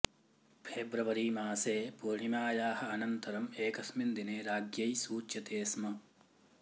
फेब्रवरीमासे पूर्णिमायाः अनन्तरम् एकस्मिन् दिने राज्ञै सूच्यते स्म